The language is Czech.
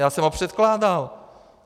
Já jsem ho předkládal.